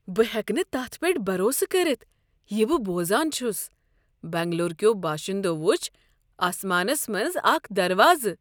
بہٕ ہٮ۪کہٕ نہٕ تتھ پیٹھ بروسہٕ كرِتھ یہِ بہٕ بوزان چھُس! بنگلور كیو باشندو وُچھ آسمانس منٛز اكھ دروازٕ۔